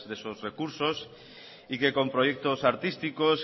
de esos recursos y que con proyectos artísticos